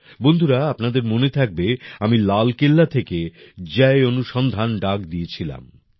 বন্ধুরা আপনাদের মনে থাকবে আমি লাল কেল্লা থেকে জয় অনুসন্ধান ডাক দিয়েছিলাম